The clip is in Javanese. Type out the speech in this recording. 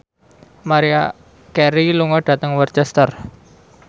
Maria Carey lunga dhateng Worcester